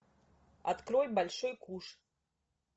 открой большой куш